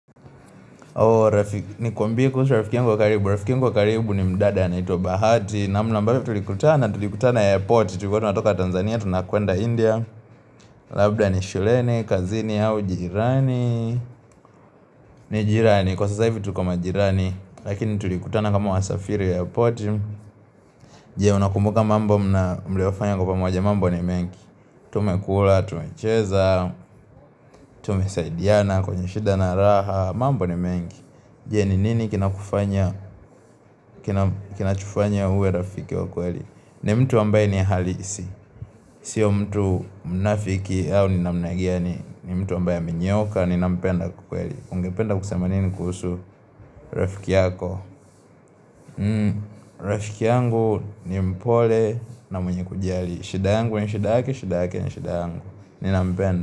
Ni kwambei kuhusu rafiki yangu wa karibu Rafiki yangu wa karibu ni mdada anaitwa bahati namna ambayo tulikutana Tulikutana ya porti Tulikua tunatoka Tanzania, tunakuenda India Labda ni shulene, kazini, au jirani ni jirani Kwa sasa hivi tuko majirani Lakini tulikutana kama wasafiri ya porti Jee unakumbuka mambo mliofanya kwa pamoja mambo ni mengi Tumekula, tumecheza Tumesaidiana, kwenye shida na raha mambo ni mengi Jee ni nini kina kufanya Kinachofanya uwe rafiki wa kweli ni mtu ambaye ni halisi Sio mtu mnafiki ni mtu ambaye amenyooka ni nampenda kikweli Ungependa kusema nini kuhusu rafiki yako Rafiki yangu ni mpole na mwenye kujali shida yangu ni shida yake shida yake ni shida yake ni shida yangu ni nampenda.